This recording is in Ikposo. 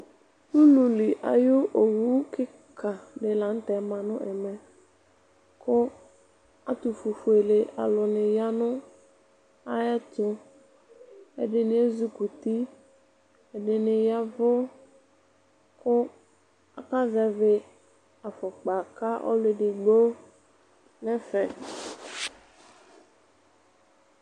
Ululi ayu owu kikadi la nu tɛ ma nu ɛmɛ ku ɛtufuele ayu aluni yanu ayɛtu ɛdini ezikuti ɛdini yavu ku akazɛ vi ku ɔluedigbo nɛfɛ